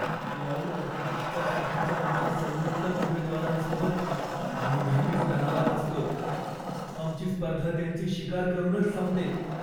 Cloud आर्किटेक्चरसाठीच्या आमच्या सर्वोत्तम उमेदवारांसोबत मी नेहमीच तणावात असतो. आमची स्पर्धा त्यांची शिकार करूनच संपते.